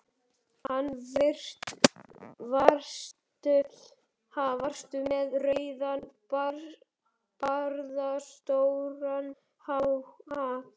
Ha, varstu með rauðan barðastóran hatt?